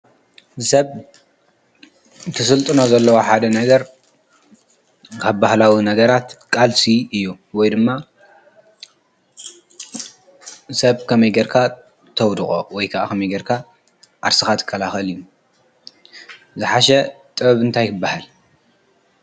ሰብ ትስልጡና ዘለዉ ሓደ ነገር ሃባህላዊ ነገራት ቃልሲ እዩ ወይ ድማ ሰብ ከመይ ገርካ ተውድቖ ወይከ ኸመይጌርካ ዓስኻት ከልኸል እዩ ዝሓሽ ጥበብንታይክበሃል።